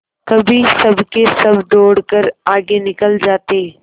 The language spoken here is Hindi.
कभी सबके सब दौड़कर आगे निकल जाते